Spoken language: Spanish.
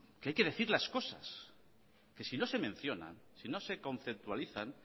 que hay que decir las cosas que si no se mencionan si no se conceptualizan